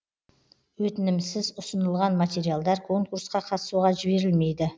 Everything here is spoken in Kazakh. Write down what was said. өтінімсіз ұсынылған материалдар конкурсқа қатысуға жіберілмейді